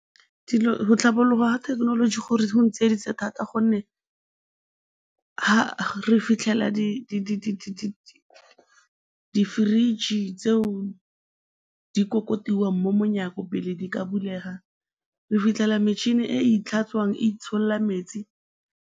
Go tlhabologa ga thekenoloji go ntsieditse thata gonne re fitlhela di-fridge tseo di kokotiwang mo monyako pele di ka bulega, re fitlhela metšhini e e tlhatswang e itsholola metsi.